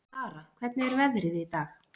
Dara, hvernig er veðrið í dag?